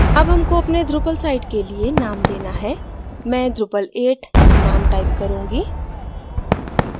अब हमको अपने drupal site के लिए name देना है मैं drupal 8 name type करूँगी